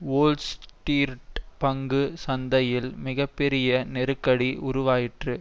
Wall Street பங்கு சந்தையில் மிக பெரிய நெருக்கடி உருவாயிற்று